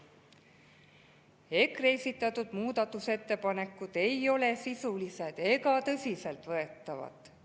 EKRE esitatud muudatusettepanekud ei ole sisulised ega tõsiseltvõetavad.